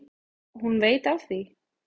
Og hún veit af því.